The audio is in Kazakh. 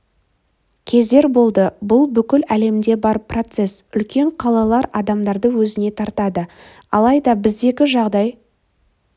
кездер болды бұл бүкіл әлемде бар процесс үлкен қалалар адамдарды өзіне тартады алайда біздегі жағдай